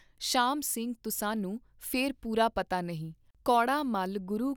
ਸ਼ਾਮ ਸਿੰਘ ਤੁਸਾਨੂੰ ਫੇਰ ਪੂਰਾ ਪਤਾ ਨਹੀਂ, ਕੌੜਾ ਮੱਲ ਗੁਰੂ ਕਾ